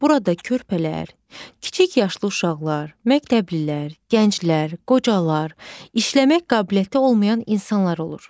Burada körpələr, kiçik yaşlı uşaqlar, məktəblilər, gənclər, qocalar, işləmək qabiliyyəti olmayan insanlar olur.